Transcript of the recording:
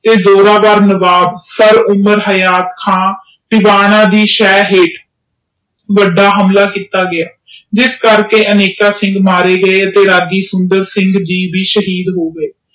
ਤੇ ਦੋਹਿਰਾ ਦਾ ਨਵਾਬ ਸਰ ਉਮਰ ਹਯਾਤ ਖਾਂ ਟਿਵਾਣਾ ਤੇ ਸਹਿ ਹੇਠ ਵੱਡਾ ਹਮਲਾ ਕੀਤਾ ਗਿਆ ਜਿਸ ਚ ਹਜ਼ਾਰਾਂ ਸਿੱਖ ਮਾਰੇ ਗਏ ਤੇ ਰੱਗੀ ਸੁੰਦਰ ਸਿੰਘ ਗ ਵੀ ਸ਼ਹੀਦ ਹੋ ਗਏ।